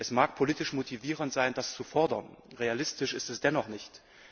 Es mag politisch motivierend sein, das zu fordern, realistisch ist es dennoch nicht.